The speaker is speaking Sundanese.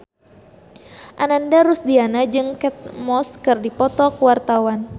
Ananda Rusdiana jeung Kate Moss keur dipoto ku wartawan